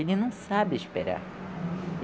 Ele não sabe esperar.